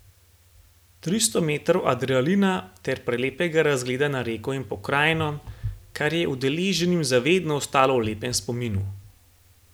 Tristo metrov adrenalina ter prelepega razgleda na reko in pokrajino, kar je udeleženim za vedno ostalo v lepem spominu.